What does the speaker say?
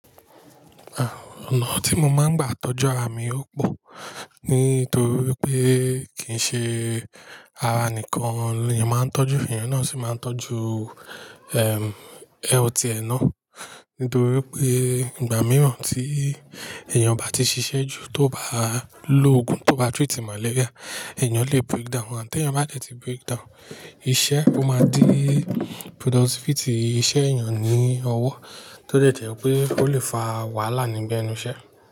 Àà, ọ̀nà tí mo máa ń gbà tọ́jú ara mi ò pò, nítorí pé kì í ṣe ara nìkan leèyàn máa ń tọ́jú, ènìyàn náà sì máa ń tọ́jú, ẹm, health ẹ nà. Nítorí pé ìgbà mìíràn tí èèyàn bá ti ṣiṣẹ́ jù, tó bá lo ògùn, tó bá treat malaria, èèyàn lè break down, àti ẹ́niyàn bá dẹ̀ ti break down, iṣẹ́ ó máa di productivity iṣẹ́ èèyàn ní ọwọ́, tó dẹ̀ jẹ̀ pé ó lè fa wàhálà níbi ẹnu iṣẹ́